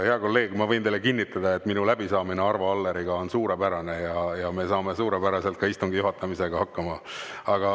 Hea kolleeg, ma võin teile kinnitada, et minu läbisaamine Arvo Alleriga on suurepärane ja me saame suurepäraselt ka istungi juhatamisega hakkama.